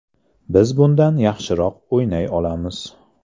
Biz bundan yaxshiroq o‘ynay olamiz.